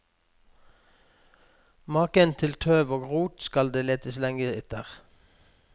Maken til tøv og rot skal det letes lenge etter.